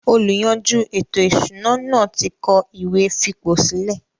“ Olùyanjú ètò-ìsúná” náà ti kọ ìwé fipòsílẹ̀